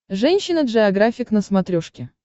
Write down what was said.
женщина джеографик на смотрешке